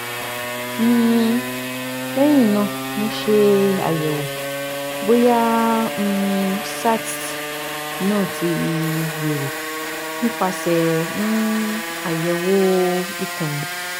um lehin na mo se ayewo boya um cysts na ti yoro nipase um ayewo ikun mi